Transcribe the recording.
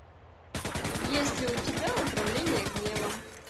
есть ли у тебя управление гневом